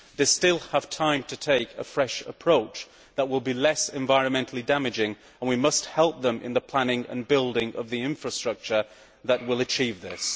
They still have time to take a fresh approach that will be less environmentally damaging, and we must help them in the planning and building of the infrastructure which will achieve this.